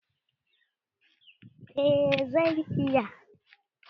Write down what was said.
Eh na iya hausa